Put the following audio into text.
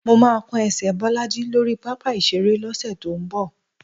Mó máa kán ẹsẹ̀ Bọ́lájí lórí pápá ìṣeré lọ́sẹ̀ tó ń bọ̀.